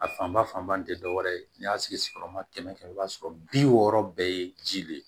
A fanba fanba tɛ dɔwɛrɛ ye n'i y'a sigi sigiyɔrɔma kɛmɛ kɛmɛ i b'a sɔrɔ bi wɔɔrɔ bɛɛ ye ji de ye